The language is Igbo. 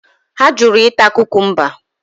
Ha jụrụ ịta kukumba.